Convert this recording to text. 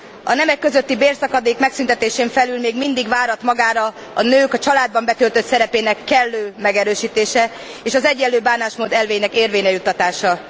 A nemek közötti bérszakadék megszüntetésén felül még mindig várat magára a nők a családban betöltött szerepének kellő megerősítése, és az egyenlő bánásmód elvének érvényre juttatása.